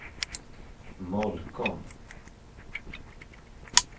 Molkom